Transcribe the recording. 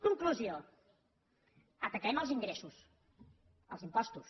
conclusió ataquem els ingressos els impostos